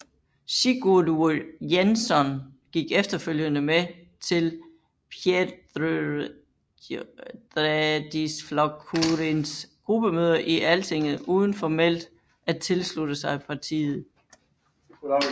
Sigurður Jensson gik efterfølgende med til Þjóðræðisflokkurinns gruppemøder i Altinget uden formelt at tilslutte sig partiet